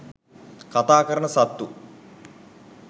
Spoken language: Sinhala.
කතා කරන සත්තු